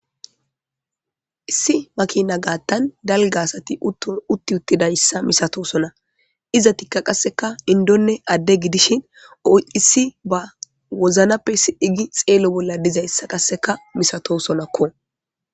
Issi makiina gaththan dalgga asathi uththi7uththdayssa misathoosona;izathikka qassika inddonne adde gidishin issiba wozappe xeelo bolla dizayssa qassika misathoosona koo.